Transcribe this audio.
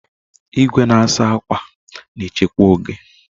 Igwe na-asa akwa na-echekwa oge.